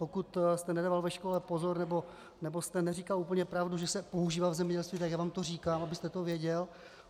Pokud jste nedával ve škole pozor nebo jste neříkal úplně pravdu, že se používá v zemědělství, tak já vám to říkám, abyste to věděl.